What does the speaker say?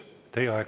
Teie aeg!